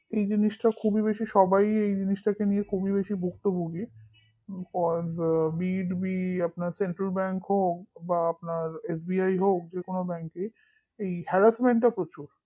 এই জিনিসটা খুবই বেশি সবাই এই জিনিসটাকে নিয়ে খুবই বেশি ভুক্তভোগী beitbecentralbank হোক বা আপনার SBI হোক যে কোন bank ই এই harassment টা প্রচুর